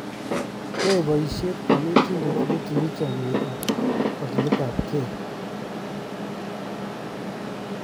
Yoe boisie konetinde nitinyei chomnyee om kakiletapkei.